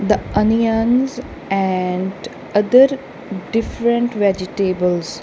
the onions and other different vegetables.